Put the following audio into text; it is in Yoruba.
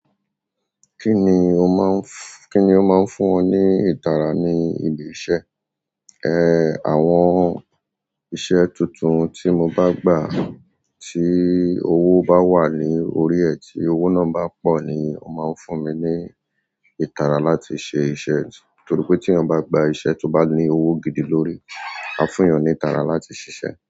Kíni o máa ń, kíni o máa ń fún ọ ní ìtara ní ibi iṣẹ́? Àwọn iṣẹ́ tuntun tí mo bá gbà, tí owó bá wà ní orí ẹ̀, tí owó náà bá pọ̀ ni ó máa ń fún mi ní ìtara láti ṣe iṣẹ́. To ro pe tí èyàn bá gba iṣẹ́ to bá ní owó gidi lórí, a fún'yàn ni ìtara láti ṣíṣe.